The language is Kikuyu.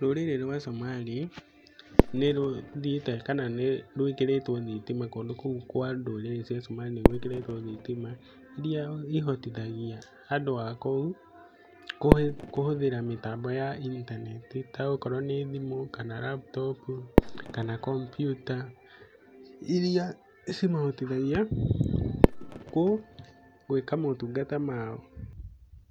Rũrĩrĩ rwa Somali nĩ rũthiĩte kana nĩ rũikĩrĩtwo thitima kũndũ kũu kwa ndũrĩrĩ cia Somali nĩ gwĩkĩrĩtwo thitima, iria ihotithagia andũ akũu kũhũthĩra mĩtambo ya intaneti ta okorwo nĩ thimũ kana laptop, kana kompiuta. Iria cimahotithagia gwĩka motungata mao.